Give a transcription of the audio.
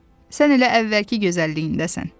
Sən elə əvvəlki gözəlliyindəsən.